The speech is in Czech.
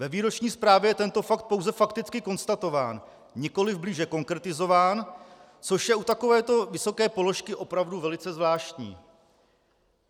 Ve výroční zprávě je tento fakt pouze fakticky konstatován, nikoli blíže konkretizován, což je u takovéto vysoké položky opravdu velice zvláštní.